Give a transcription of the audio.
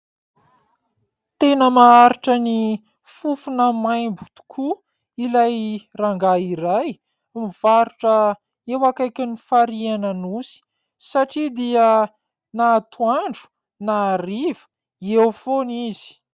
Tena maharitra ny fofona maimbo tokoa ilay rangahy iray mivarotra eo akaiky ny farihy an'Anosy satria dia na atoandro na hariva eo foana izy.